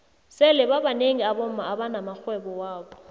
sele babnengi abomma abana maxhwebo wabo